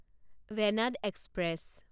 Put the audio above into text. Venad express